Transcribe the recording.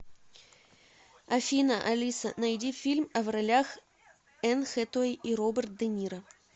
афина алиса найди фильм а в ролях энн хэтэуэй и роберт де ниро